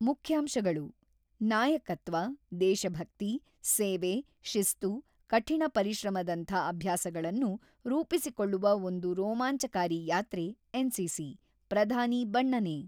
ಮುಖ್ಯಾಂಶಗಳು ನಾಯಕತ್ವ, ದೇಶಭಕ್ತಿ, ಸೇವೆ, ಶಿಸ್ತು, ಕಠಿಣ ಪರಿಶ್ರಮದಂಥ ಅಭ್ಯಾಸಗಳನ್ನು ರೂಪಿಸಿಕೊಳ್ಳುವ ಒಂದು ರೋಮಾಂಚಕಾರಿ ಯಾತ್ರೆ ಎನ್‌ಸಿಸಿ ಪ್ರಧಾನಿ ಬಣ್ಣನೆ.